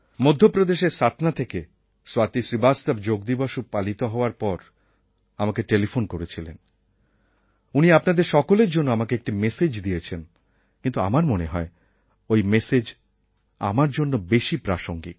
মধ্যপ্রদেশের সাতনা থেকে স্বাতী শ্রীবাস্তব যোগ দিবস পালিত হওয়ার পর আমাকে টেলিফোন করেছিলেন উনি আপনাদের সকলের জন্য আমাকে একটি মেসেজ দিয়েছেন কিন্তু আমার মনে হয় ওই ম্যাসেজ আমার জন্য বেশি প্রাসঙ্গিক